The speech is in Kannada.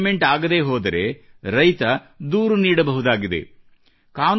ಒಂದು ವೇಳೆ ಪೇಮೆಂಟ್ ಆಗದೇ ಹೋದರೆ ರೈತನು ದೂರು ನೀಡಬಹುದಾಗಿದೆ